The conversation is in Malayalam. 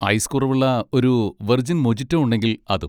ഐസ് കുറവുള്ള ഒരു വിർജിൻ മോജിറ്റോ ഉണ്ടെങ്കിൽ അതും.